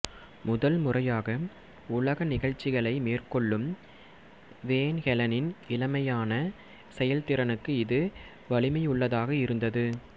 முதல் முறையாக உலக நிகழ்ச்சிகளை மேற்கொள்ளும் வேன் ஹெலனின் இளமையான செயல்திறனுக்கு இது வலிமையுள்ளதாக இருந்தது